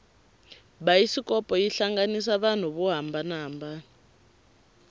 bayisikopo yi hlanganisa vanhu vo hambanana